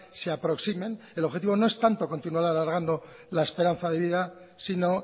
se aproximen el objetivo no es tanto continuar alargando la esperanza de vida sino